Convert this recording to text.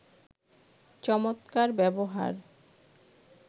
চমৎকার ব্যবহার